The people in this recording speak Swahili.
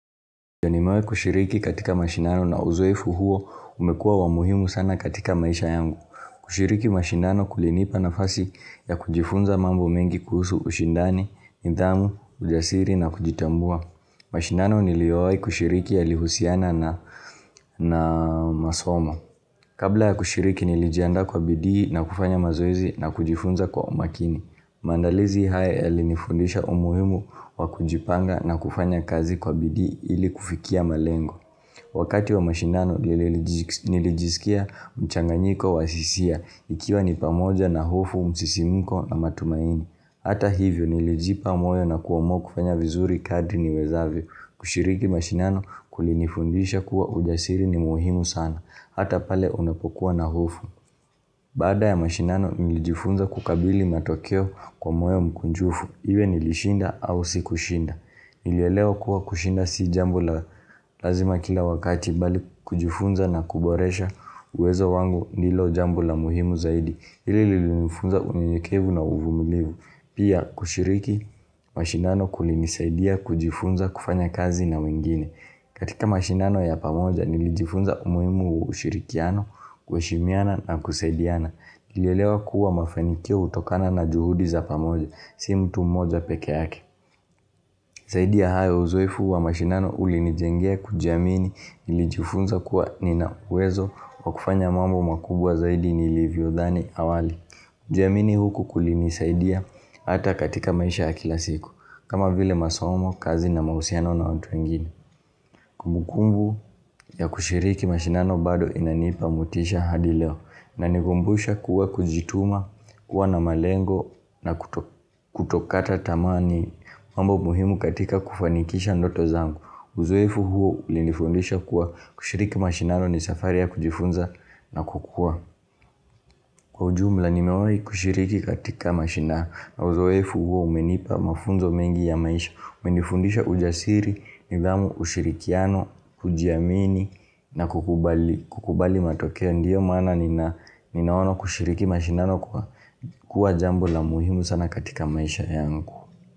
Nimewahi kushiriki katika mashindano na uzoefu huo umekua wa muhimu sana katika maisha yangu. Kushiriki mashindano kulinipa nafasi ya kujifunza mambo mengi kuhusu ushindani, nidhamu, ujasiri na kujitambua. Mashindano niliowahi kushiriki yalihusiana na masomo. Kabla ya kushiriki nilijiandaa kwa bidii na kufanya mazoezi na kujifunza kwa umakini. Mandalizi haya yalinifundisha umuhimu wakujipanga na kufanya kazi kwa bidi ili kufikia malengo. Wakati wa mashindano. Nilijisikia mchanganyiko wa hisia ikiwa ni pamoja na hofu, msisimuko na matumaini. Hata hivyo nilijipa moyo na kuamua kufanya vizuri kadri niwezavyo. Kushiriki mashindano kulinifundisha kuwa ujasiri ni muhimu sana hata pale unapokuwa na hofu. Baada ya mashindano nilijifunza kukabili matokeo kwa moyo mkunjufu. Iwe nilishinda au sikushinda. Nilielewa kuwa kushinda si jambo la lazima kila wakati bali kujifunza na kuboresha uwezo wangu ndilo jambo la muhimu zaidi. Hili lilifunza unyenyekevu na uvumilivu. Pia kushiriki mashindano kulinisaidia kujifunza kufanya kazi na wengine. Katika mashinano ya pamoja nilijifunza umuhimu wa ushirikiano, kuheshimiana na kusaidiana. Nilelewa kuwa mafanikio hutokana na juhudi za pamoja si mtu mmoja peke yake. Zaidi ya hayo uzoefu wa mashindano ulinijenge kujiamini. Nilijifunza kuwa ninauwezo wa kufanya mambo makubwa zaidi nilivyodhani awali. Kujiamini huku kulinisaidia ata katika maisha ya kila siku. Kama vile masomo, kazi na mahusiano na watu wengine. Kumbukumbu ya kushiriki mashindano bado inanipa motisha hadi leo. Na nikumbusha kuwa kujituma, kuwa na malengo na kutokata tamaa ni mambo muhimu katika kufanikisha ndoto zangu uzoefu huo ulinifundisha kuwa kushiriki mashindano ni safari ya kujifunza na kukua. Kwa ujumla nimewai kushiriki katika mashindano na uzorfu huo umenipa mafunzo mengi ya maisha. Umenifundisha ujasiri, nidhamu ushirikiano, kujiamini na kukubali matokeo. Ndio mana ninaona kushiriki mashindano. Kuwa jambo la muhimu sana katika maisha yangu.